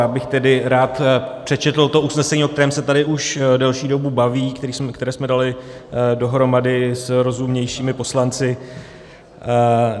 Já bych tedy rád přečetl to usnesení, o kterém se tady už delší dobu baví, které jsme dali dohromady s rozumnějšími poslanci.